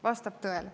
Vastab tõele.